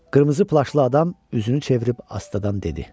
Qırmızı plaşlı adam üzünü çevirib astadan dedi: